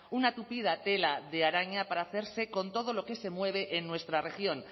una tupida tela de araña para hacerse con todo lo que se mueve en nuestra región